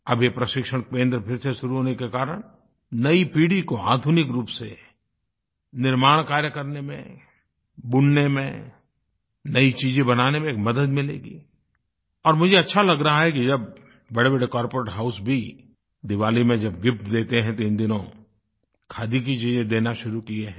अब ये प्रशिक्षण केंद्र फिर से शुरू होने के कारण नई पीढ़ी को आधुनिक रूप से निर्माण कार्य करने में बुनने में नयी चीज़ें बनाने में एक मदद मिलेगी और मुझे अच्छा लग रहा है कि जब बड़ेबड़े कॉर्पोरेट हाउस भी दिवाली में जब गिफ्ट देते हैं तो इन दिनों खादी की चीज़े देना शुरू किये हैं